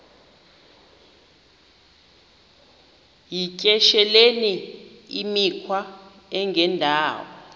yityesheleni imikhwa engendawo